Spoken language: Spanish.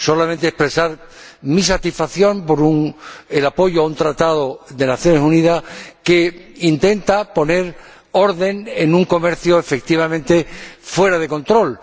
Solamente expresar mi satisfacción por el apoyo a un Tratado de las Naciones Unidas que intenta poner orden en un comercio efectivamente fuera de control.